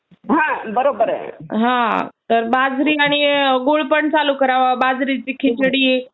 तर बाजरी आणि गुळपण चालू करावा. बाजरीची खिचडी